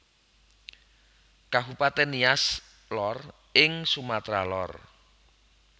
Kabupatèn Nias Lor ing Sumatra Lor